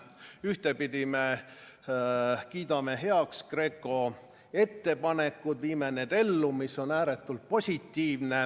Ühtepidi me kiidame heaks GRECO ettepanekud, viime need ellu, mis on ääretult positiivne.